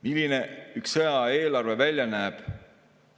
Milline üks sõjaaja eelarve välja näeb?